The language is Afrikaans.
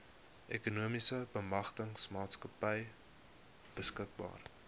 ekonomiese bemagtigingsmaatskappy beskikbaar